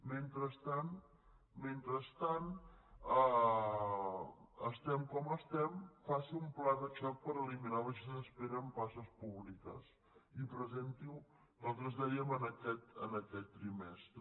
mentrestant mentrestant estem com estem faci un pla de xoc per eliminar les llistes d’espera en places públiques i presenti ho nosaltres dèiem en aquest trimestre